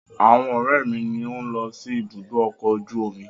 Àwọn ọ̀rẹ́ mi ni ó ń lọ sí ibùdó ọkọ̀ ojú omi.